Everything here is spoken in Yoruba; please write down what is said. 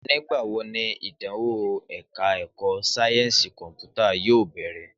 Nígbà wo ni ìdánwò ẹ̀ka ẹ̀kọ́ sáyẹ́ǹsì kọ̀mpútà yóò bẹ̀rẹ̀?